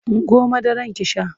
Ungo madara ki sha!